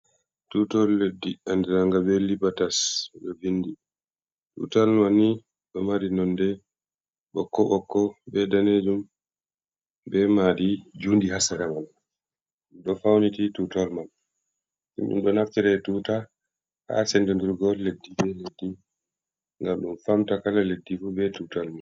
Tutawal leddi andiranga be Libatas, ɓe ɗo vindi, tutawal manni ɗo mari nonde ɓokko-ɓokko, be daneejum, be maadi juundi ha sera man, ɗum ɗo fauniti tutawal man, ni ɗum ɗo naftire tuta ha sendindirgo leddi be leddi, ngam ɗum faamta kala leddi fu be tutawal man.